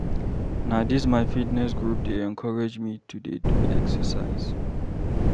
Na dis my fitness group dey encourage me to dey do exercise.